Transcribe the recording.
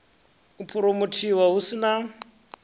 u phuromothiwa hu si na